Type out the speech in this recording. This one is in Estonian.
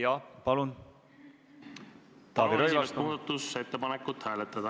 Jaa, palun, Taavi Rõivas!